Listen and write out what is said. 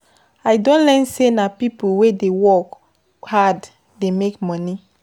I don learn sey na pipo wey dey work hard dey make moni.